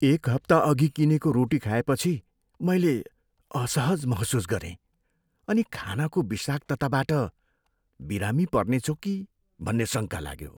एक हप्ताअघि किनेको रोटी खाएपछि मैले असहज महसुस गरेँ अनि खानाको विषाक्तताबाट बिरामी पर्नेछु कि भन्ने शङ्का लाग्यो।